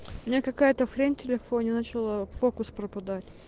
у меня какая-то хрень телефоне начала фокус пропадать